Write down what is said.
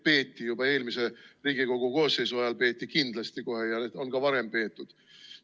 Peeti juba eelmise Riigikogu koosseisu ajal, peeti kohe kindlasti, ja on ka varem peetud.